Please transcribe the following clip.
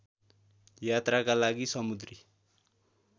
यात्राका लागि समुद्री